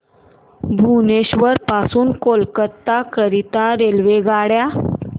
भुवनेश्वर पासून कोलकाता करीता रेल्वेगाड्या